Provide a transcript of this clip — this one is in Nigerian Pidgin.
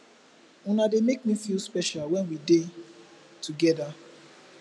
una dey make me feel special when we dey together